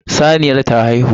Saniyar ta haihu.